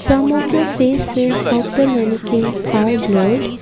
some of the faces of the mannequins are blurred.